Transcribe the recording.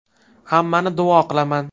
Hammani duo qilaman.